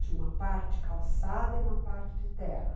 Tinha uma parte calçada e uma parte de terra.